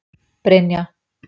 Brynja